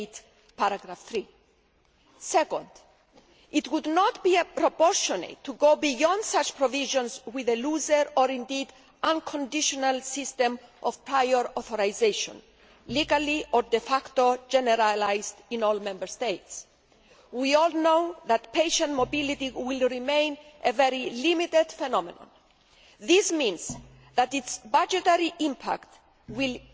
8. Secondly, it would not be appropriate to go beyond such provisions with a looser or indeed unconditional system of prior authorisation, legally or de facto generalised in all Member States. We all know that patient mobility will remain a very limited phenomenon. This means that its budgetary impact will